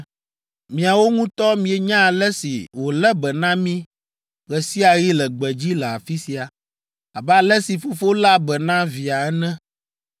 Miawo ŋutɔ mienya ale si wòlé be na mí ɣe sia ɣi le gbedzi le afi sia, abe ale si fofo léa be na via ene!”